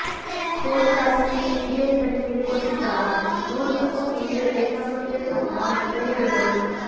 phone tapping CBI ತನಿಖೆಗೆ ಕೊಟ್ಟಿದ್ದಾರೆ ನೋಡ್ಬೇಕು ಮುಂದೆ ಏನಾಗುತ್ತೆ ಅಂತ ಎಂದು ಹೇಳಿದರು